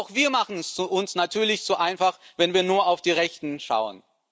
Auch wir machen es uns natürlich zu einfach, wenn wir nur auf die Rechten schauen.